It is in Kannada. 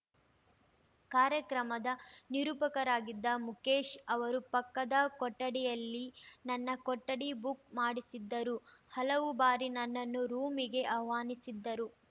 ಕಾರ್ಯಕ್ರಮದ ನಿರೂಪಕರಾಗಿದ್ದ ಮುಕೇಶ್‌ ಅವರು ಪಕ್ಕದ ಕೊಠಡಿಯಲ್ಲಿ ನನ್ನ ಕೊಠಡಿ ಬುಕ್‌ ಮಾಡಿಸಿದ್ದರು ಹಲವು ಬಾರಿ ನನ್ನನ್ನು ರೂಮಿಗೆ ಆಹ್ವಾನಿಸಿದ್ದರು